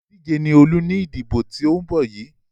Olùdíje ni Olú ní ìdìbò tó ń bọ́ yìí.